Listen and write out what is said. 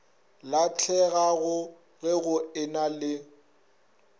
lahlegago ge go ena le